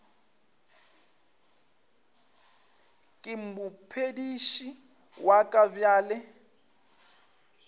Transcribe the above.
ke mophediši wa ka bjale